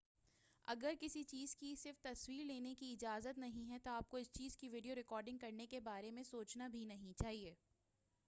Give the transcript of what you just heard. اگر کسی چیز کی صرف تصویر لینے کی اجازت نہیں ہے تو آپ کو اس چیز کی ویڈیو ریکارڈنگ کرنے کے بارے سوچنا بھی نہیں چاہئے